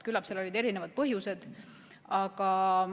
Küllap seal olid erinevad põhjused.